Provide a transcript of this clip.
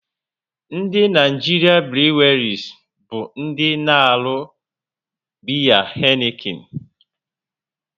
Ndị Naịjirịa breelis bụ ndị na-arụ biya Heineken